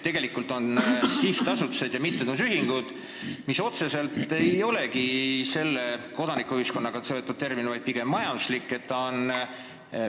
Tegelikult on meil sihtasutused ja mittetulundusühingud, mis ei olegi otseselt kodanikuühiskonnaga seotud, vaid on pigem majanduslikud terminid.